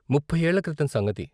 ముఫ్ఫైయేళ్ళ క్రితం సంగతి.